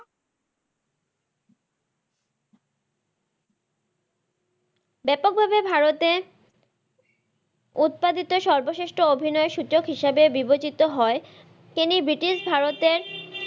ব্যাপক ভাবে ভারতে উৎপাদিত সর্বশ্রেষ্ঠ অভিনায়ক হিসেবে বিবেচিত হয় তিনি ব্রিটিশ ভারতের,